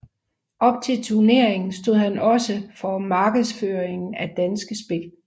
Op til turneringen stod han også markedsføringen af Danske Spil